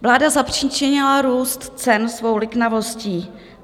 Vláda zapříčinila růst cen svou liknavostí.